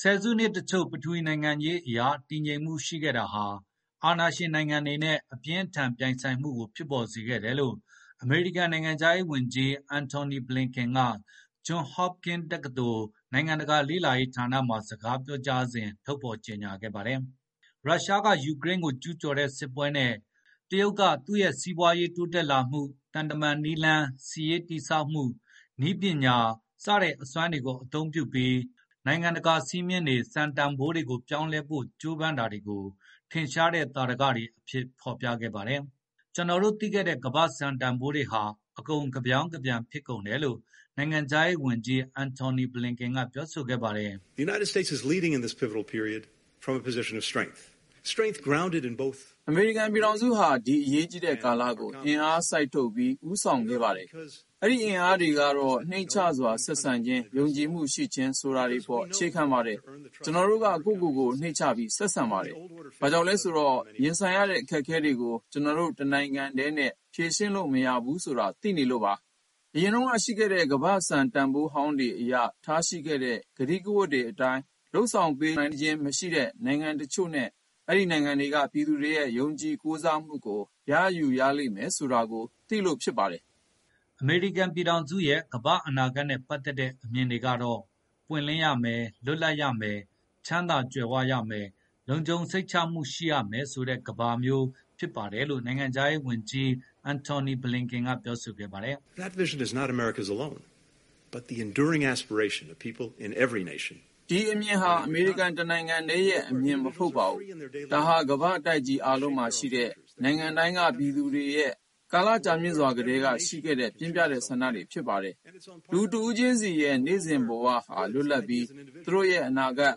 ဆယ်စုနှစ်တချို့ ပထဝီနိုင်ငံရေးအရတည်ငြိမ်မှုရှိခဲ့တာဟာ အာဏာရှင်နိုင်ငံတွေနဲ့အပြင်းအထန်ပြိုင်ဆိုင်မှုကိုဖြစ်ပေါ်စေခဲ့တယ်လို့ အမေရိကန်နိုင်ငံခြားရေးဝန်ကြီး Antony Blinken က Johns Hopkins တက္ကသိုလ် နိုင်ငံတကာလေ့လာရေးဌာနမှာစကားပြောစဉ် ထုတ်ဖေါ်ကြေညာခဲ့ပါတယ်။ ရုရှားကယူကရိန်းကိုကျူးကျော်တဲ့စစ်ပွဲနဲ့ တရုတ်ကသူ့ရဲ့စီးပွားရေးတိုးတက်လာမှု၊ သံတမန်နည်းလမ်း၊ စစ်ရေးတည်ဆောက်မှုနဲ့ နည်းပညာတွေရဲ့အစွမ်းကိုအသုံးပြုပြီး နိုင်ငံတကာစည်းမျဉ်းတွေစံတန်ဘိုးတွေကို ပြောင်းလဲဖို့ကြိုးပမ်းတာ တွေကို ထင်ရှားတဲ့သာဓကတွေအဖြစ် ဖေါ်ပြခဲ့ပါတယ်။ "ကျနော်တို့သိခဲ့တဲ့ ကမ္ဘာ့စံတန်ဘိုးတွေဟာ အကုန် ကဗြောင်းကပြန်ဖြစ်ကုန်တယ်" လို့ နိုင်ငံခြားရေးဝန်ကြီး Antony Blinken ကပြောဆိုခဲ့ပါတယ်။ “အမေရိကန်ပြည်ထောင်စုဟာ ဒီအရေးကြီးတဲ့ကာလကို အင်အားစိုက်ထုတ်ပြီး ဦးဆောင်ခဲ့ပါတယ်။ အဲဒိအင်အားတွေကတော့ နှိမ့်ချစွာဆက်ဆံခြင်း၊ ယုံကြည်မှုရှိခြင်းဆိုတာတွေပေါ်အခြေခံပါတယ်။ ကျနော်တို့က ကိုယ့်ကိုကိုယ် နှိမ့်ချပြီးဆက် ဆံပါတယ်။ ဘာကြောင့်လဲဆိုတော့ ရင်ဆိုင်ရတဲ့အခက်အခဲတွေကို ကျနော်တို့တနိုင်ငံတည်းနဲ့ဖြေရှင်းလို့မရဘူးဆိုတာ သိလို့ပါ။ ယခင်ရှိခဲ့တဲ့ကမ္ဘာစံတန်ဘိုးဟောင်းတွေအရ ထားရှိခဲ့တဲ့ကတိကဝတ်တွေအတိုင်း လုပ်ဆောင်ပေးနိုင်ခြင်းမရှိတဲ့နိုင်ငံတချို့နဲ့ အဲဒိနိုင်ငံတွေကပြည်သူတွေရဲ့ယုံကြည်ကိုစားမှုကို ရယူရလိမ့်မယ်ဆိုတာကို သိလို့ဖြစ်ပါတယ်။” အမေရိကန်ပြည်ထောင်စုရဲ့ ကမ္ဘာ့အနာဂတ်နဲ့ပတ်သက်တဲ့အမြင်ကတော့ ပွင့်လင်းရမယ်၊ လွတ်လပ်ရမယ်၊ ချမ်းသာ ကြွယ်ဝရမယ်၊ လုံခြုံစိတ်ချမှုရှိရမယ်ဆိုတဲ့ကမ္ဘာမျိုးဖြစ်ပါတယ်လို့ နိုင်ငံခြားရေးဝန်ကြီး Antony Blinken ကပြောဆိုခဲ့ ပါတယ်။ “ဒီအမြင်ဟာ အမေရိကန်တနိုင်ငံတည်းရဲ့အမြင်မဟုတ်ပါဘူး၊ ဒါဟာ ကမ္ဘာ့တိုက်ကြီးအားလုံးမှာရှိတဲ့နိုင်ငံတိုင်းကပြည်သူတွေရဲ့ ကာလကြာမြင့်စွာကတည်းကရှိခဲ့တဲ့ ပြင်းပြတဲ့ဆန္ဒတွေဖြစ်ပါတယ်။ လူတဦးချင်းစီရဲ့နေ့စဉ်ဘဝဟာ လွတ် လပ်ပြီး သူတို့ရဲ့အနာဂတ်၊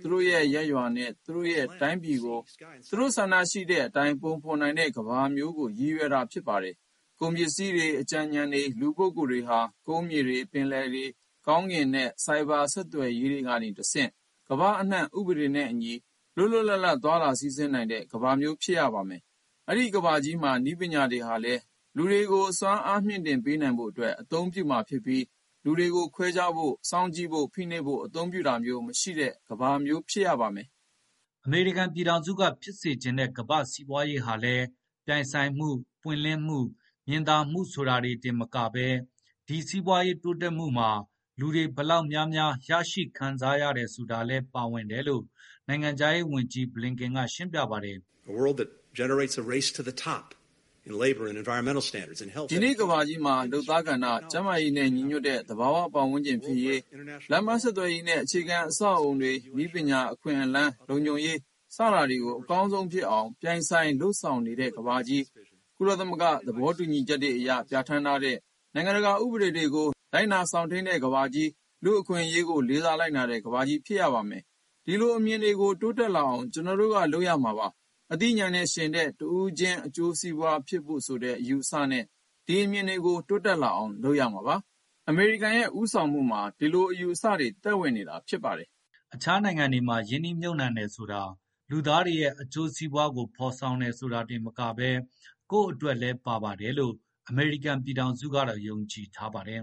သူတို့ရဲ့ရပ်ရွာနဲ့ သူတို့ရဲ့တိုင်းပြည်ကို သူတို့ဆန္ဒရှိတဲ့အတိုင်း ပုံဖေါ်နိုင်တဲ့ကမ္ဘာမျိုးကိုရည် ရွယ်တာဖြစ်ပါတယ်။ ကုန်ပစ္စည်းတွေ၊ အကြံဉာဏ်တွေ၊ လူပုဂ္ဂိုလ်တွေဟာ ကုန်းမြေတွေ၊ ပင်လယ်တွေ၊ ကောင်းကင် တွေနဲ့ ဆိုက်ဗာဆက်သွယ်ရေးတွေကနေတဆင့် ကမ္ဘာအနှံ့ ဥပဒေနဲ့အညီလွတ်လွတ်လပ်လပ် သွားလာစီးဆင်းနိုင်တဲ့ကမ္ဘာမျိုး ဖြစ်ရပါမယ်။ အဲဒိကမ္ဘာကြီးမှာ နည်းပညာတွေဟာလည်း လူတွေကို စွမ်းအားတွေမြှင့်တင်ပေးနိုင်ဖို့ အသုံးပြုမှာဖြစ်ပြီး လူတွေကိုခွဲခြားဖို့၊ စောင့်ကြည့်ဖို့ ဖိနှိပ်ဖို့အသုံးပြုတာမျိုးမရှိတဲ့ကမ္ဘာကြီးမျိုးဖြစ်ပါတယ်။” အမေရိကန်ပြည်ထောင်စုကဖြစ်စေ့ချင်တဲ့ ကမ္ဘာ့စီးပွားရေးဟာလည်း ပြိုင်ဆိုင်မှု၊ ပွင့်လင်းမှု၊ မြင်သာမှုဆိုတာတွေတင်မကဘဲ ဒီစီးပွားရေးတိုးတက်မှုမှာ လူတွေဘယ်လောက်များများ ရရှိခံစားရတယ်ဆိုတာလည်း ပါဝင်တယ်လို့ နိုင်ငံခြား ရေးဝန်ကြီး Blinken ကရှင်းပြပါတယ်။ “ဒီကနေ့ကမ္ဘာကြီးမှာ လုပ်သားကဏ္ဍ၊ ကျန်းမာရေးနဲ့ညီညွတ်တဲ့သဘာဝပတ်ဝန်းကျင်ဖြစ်ရေး၊ လမ်းပန်းဆက်သွယ်ရေးနဲ့အခြေခံအဆောက်အဦးတွေ၊ နည်းပညာ၊ အခွင့်အလမ်း၊ လုံခြုံရေးစတာတွေကိုအကောင်းဆုံးဖြစ်အောင် ပြိုင် ဆိုင်လုပ်ဆောင်နေတဲ့ကမ္ဘာကြီး၊ ကုလသမဂ္ဂသဘောတူညီချက်တွေအရ ပြဌာန်းထားတဲ့နိုင်ငံတကာဥပဒေတွေကို လိုက်နာစောင့်ထိန်းကမ္ဘာကြီး၊ လူ့အခွင့်အရေးကိုလေးစားလိုက်နာတဲ့ကမ္ဘာကြီးဖြစ်ရပါမယ်။ ဒီလိုအမြင်တွေကို တိုးတက် လာအောင် ကျနော်တို့ကလုပ်မှာပါ။ အသိဉာဏ်နဲ့ယှဉ်တဲ့ တဦးချင်းအကျိုးစီးပွားဖြစ်ဖို့ဆိုတဲ့အယူအဆနဲ့ ဒီအမြင်တွေကို တိုးတက်လာအောင်လုပ်မှာပါ။ အမေရိကန်ရဲ့ ဦးဆောင်မှုမှာ ဒီလိုအယူအဆတွေ သက်ဝင်နေတာဖြစ်ပါတယ်။” အခြားနိုင်ငံတွေမှာ ရင်းနှီးမြှုမ်နှံတယ်ဆိုတာ လူသားတွေရဲ့အကျိုးစီးပွားဆိုတာတင်မကဘဲ ကိုယ့်အတွက်လည်းပါတယ်လို့ အမေရိကန်ပြည်ထောင်စုကတော့ယုံကြည်ထားပါတယ်